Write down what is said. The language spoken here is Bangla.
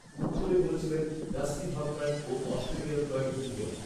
উত্তরে বলেছিলেন, ‘ডাস্টিন হফম্যান ও অস্ট্রেলিয়ার কয়েকজন বোলার